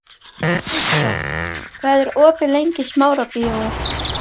Krista, hvað er opið lengi í Smárabíói?